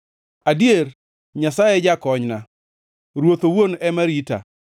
Adier, Nyasaye e jakonyna; Ruoth owuon ema rita.